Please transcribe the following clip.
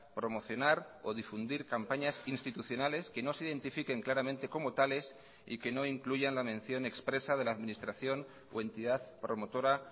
promocionar o difundir campañas institucionales que no se identifiquen claramente como tales y que no incluyan la mención expresa de la administración o entidad promotora